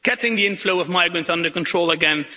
getting the inflow of migrants under control again